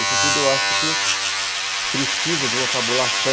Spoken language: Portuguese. Isso tudo eu acho que precisa de uma fabulação